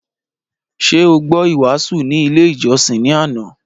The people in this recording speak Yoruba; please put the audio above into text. Ṣé o gbọ́ ìwàásù ni ilé ìjọsìn ní àná?